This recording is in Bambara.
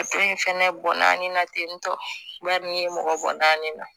Dɔ in fɛnɛ bɔ na ten tɔ ba nin ye mɔgɔ bɔ nin na